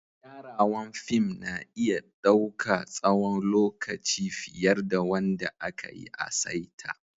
Gyarawan fim na iya dauka tsawon lokaci fiyar da wanda aka yi a'saita.